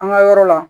An ka yɔrɔ la